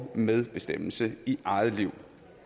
medbestemmelse i eget liv